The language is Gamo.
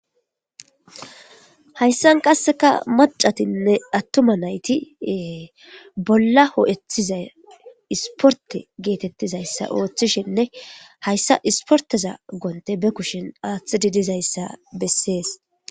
Hayssan qasseka macatinne attuma naytiee bolla hoo'ethiza isporte geetettizayssa ooththishinne hayssa isporteza gonte be kushin aaththididizayssa bessees